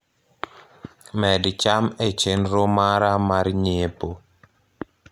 med cham e chenro mara mar nyiepo